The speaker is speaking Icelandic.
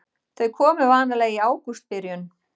Þau komu vanalega í ágústbyrjun.